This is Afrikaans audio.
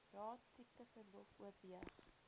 raad siekteverlof oorweeg